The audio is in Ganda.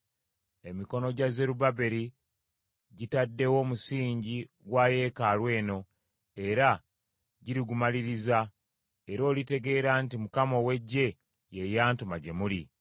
“Emikono gya Zerubbaberi gitaddewo omusingi gwa yeekaalu eno era girigumaliriza, era olitegeera nti Mukama ow’Eggye ye yantuma gye muli.